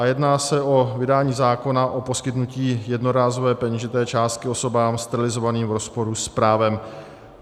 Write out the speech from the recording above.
A jedná se o vydání zákona o poskytnutí jednorázové peněžité částky osobám sterilizovaným v rozporu s právem.